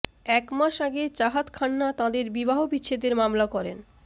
এক মাস আগে চাহাত খান্না তাঁদের বিবাহবিচ্ছেদের মামলা করেন